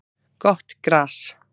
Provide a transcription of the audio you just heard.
Gott gras